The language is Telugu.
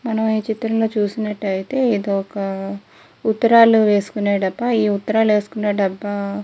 మనం ఈ చిత్రం లో చూసినట్టయితే ఇది ఒక ఉత్తరాలు వేసుకునే డబ్బా. ఈ ఉత్తరాలు వేసుకునే డబ్బా--